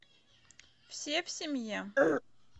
все в семье